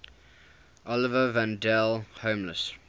oliver wendell holmes